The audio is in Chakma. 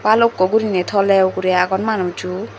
balukko gurine tole ugure agon manujo.